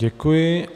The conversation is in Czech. Děkuji.